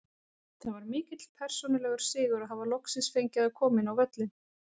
Það var mikill persónulegur sigur að hafa loksins fengið að koma inn á völlinn.